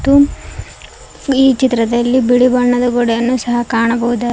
ಮ್ಮ್ ಈ ಚಿತ್ರದಲ್ಲಿ ಬಿಳಿ ಬಣ್ಣದ ಗೋಡೆಯನ್ನು ಸಹ ಕಾಣಬಹುದಾ--